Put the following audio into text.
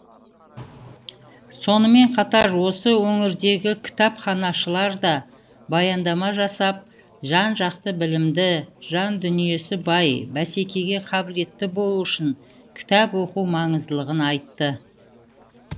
сонымен қатар осы өңірдегі кітапханашылар да баяндама жасап жан жақты білімді жандүниесі бай бәсекеге қабілетті болу үшін кітап оқу маңыздылығын айтты